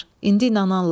İndi inanarlar.